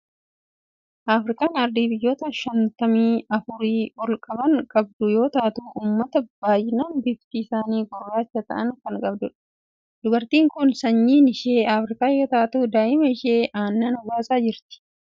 Afrikaan ardii biyyoota shantamii afurii ol kan qabdu yoo taatu, uummata baay'inaan bifti isaanii gurraacha ta'an kan qabdudha. Dubartiin kun sanyiin ishee Afrikaa yoo taatu, daa'ima ishee aannan obaasaa jirti.